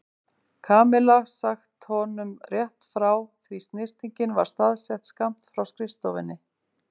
Kamilla sagt honum rétt frá því snyrtingin var staðsett skammt frá skrifstofunni.